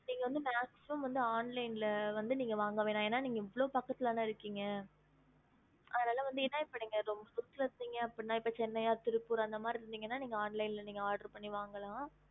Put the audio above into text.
ஹம்